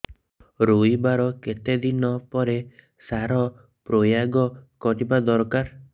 ରୋଈବା ର କେତେ ଦିନ ପରେ ସାର ପ୍ରୋୟାଗ କରିବା ଦରକାର